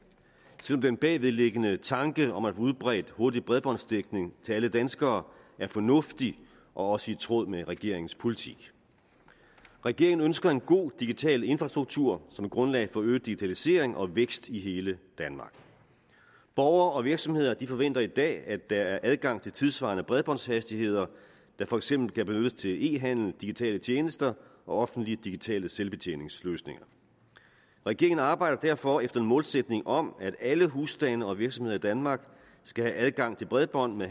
selv om den bagvedliggende tanke om at udbredt hurtig bredbåndsdækning til alle danskere er fornuftig og også i tråd med regeringens politik regeringen ønsker en god digital infrastruktur som grundlag for øget digitalisering og vækst i hele danmark borgere og virksomheder forventer i dag at der er adgang til tidssvarende bredbåndshastigheder der for eksempel kan benyttes til e handel digitale tjenester og offentlige digitale selvbetjeningsløsninger regeringen arbejder derfor efter en målsætning om at alle husstande og virksomheder i danmark skal have adgang til bredbånd med